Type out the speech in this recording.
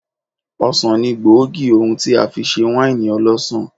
Ọsàn ni gbòógì ohun tí a fi ṣe wáìnì ọlọ́sàn.